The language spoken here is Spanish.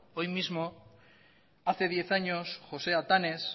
hoy mismo hace diez años josé atanes